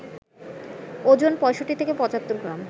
ওজন ৬৫ থেকে ৭৫ গ্রাম